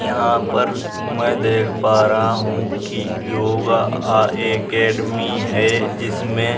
यहाँ पर मैं देख पा रहा हूँ की योगा अ अकेडेमी है जिसमे --